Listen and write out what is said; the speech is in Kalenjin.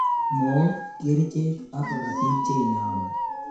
Mook, kerchek ak korotik che inami